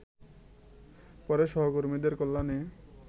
পরে সহকর্মীদের কল্যাণে